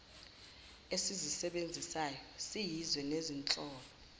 esizisebenzisayo siyizwe nezinhlolo